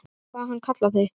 Hvað hann kallar þig?